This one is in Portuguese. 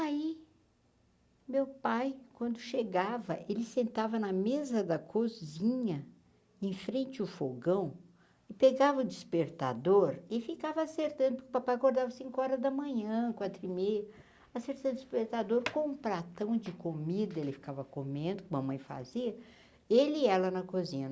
Aí, meu pai, quando chegava, ele sentava na mesa da cozinha, em frente o fogão, pegava o despertador e ficava acertando, porque o papai acordava cinco horas da manhã, quatro e meia, acertava o despertador com um pratão de comida, ele ficava comendo, que a mamãe fazia, ele e ela na cozinha.